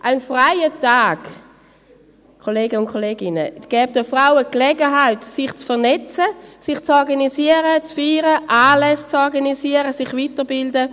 Ein freier Tag, Kollegen und Kolleginnen, gäbe den Frauen die Gelegenheit, sich zu vernetzen, sich zu organisieren, zu feiern, Anlässe zu organisieren, sich weiterzubilden.